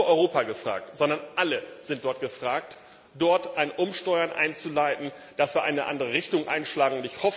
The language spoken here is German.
Hier ist nicht nur Europa gefragt, sondern alle sind gefragt, dort ein Umsteuern einzuleiten, damit wir eine andere Richtung einschlagen.